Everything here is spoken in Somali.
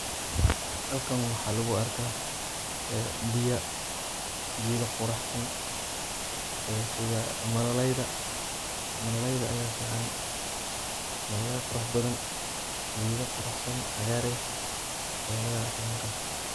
Halkan waxaa lagu arkaa ee biyo geeda quraxsan sida malalayda malalayda aya ficn malalay qurux badan geedo quruxsan cagaar eh aya laga arka halkan.